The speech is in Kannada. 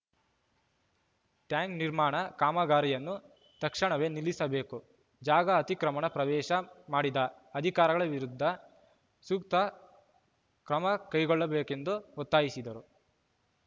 ಟ್ಯಾಂಕ್‌ ನಿರ್ಮಾಣ ಕಾಮಗಾರಿಯನ್ನು ತಕ್ಷಣವೇ ನಿಲ್ಲಿಸಬೇಕು ಜಾಗ ಅತಿಕ್ರಮಣ ಪ್ರವೇಶ ಮಾಡಿದ ಅಧಿಕಾರಿಗಳ ವಿರುದ್ಧ ಸೂಕ್ರ ಕ್ರಮಕೈಗೊಳ್ಳಬೇಕೆಂದು ಒತ್ತಾಯಿಸಿದರು